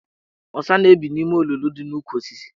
Ọsa na-ebi n' ime olulu dị n' ukwu osisis.